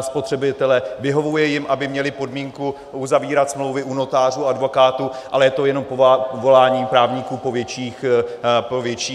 spotřebitele, vyhovuje jim, aby měli podmínku uzavírat smlouvy u notářů, advokátů, ale je to jenom volání právníků po větších ziscích.